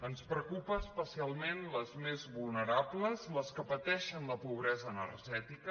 ens preocupen especialment les més vulnerables les que pateixen la pobresa energètica